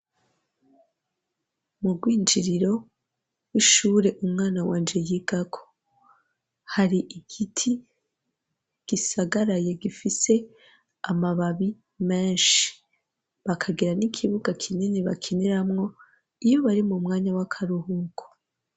Mu rwinjiriro rw'ishure umwana wanje yigako hari igiti gisagaraye gifise amababi menshi, bakagira n'ikibuga kinini bakiniramwo iyo bari mu mwanya w'akaruhuko.